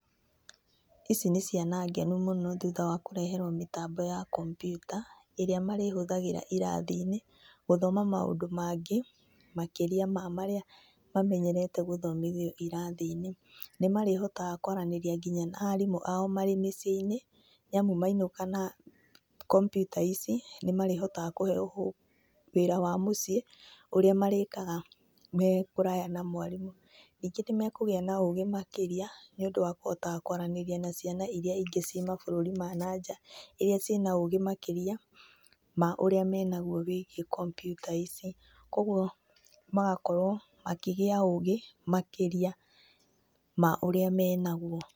Ici nĩ ciana ngenu mũno thuutha wa kũreherwo mĩtambo ya kompiuta ĩrĩa marĩhũthagĩra irathi-inĩ, gũthoma maũndũ mangĩ makĩria ma marĩa mamenyerete gũthomithio irathi-inĩ. Nĩmarĩhotaga kwaranĩria nginya na arimũ ao marĩ mĩciĩ-inĩ nĩamu mainũka na kompyuta ici nĩmarĩhotaga kũheywo home ,wĩra wa mũciĩ ũrĩa marĩkaga me kũraya na mwarimũ. Ningĩ nĩmekũgĩa na ũgĩ makĩria nĩũndũ wa kũhotaga kwaranĩria na ciana iria ingĩ ciĩ mabũrũri ma nanja iria cina ũgĩ makĩria ma ũrĩa menagwo wĩigiĩ kompiuta ici. Kogwo magakorwo makĩgĩa ũgĩ makĩria, ma ũrĩa menagwo.